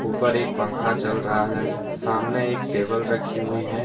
ऊपर एक पंखा चल रहा है सामने एक टेबल राखी हुई है।